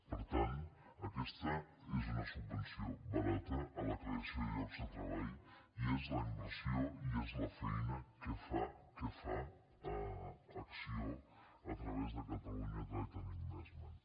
per tant aquesta és una subvenció barata a la creació de llocs de treball i és la inversió i és la feina que fa que fa acció a través de catalonia trade investment